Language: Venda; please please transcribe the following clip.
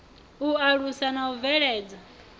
u alusa na u bveledza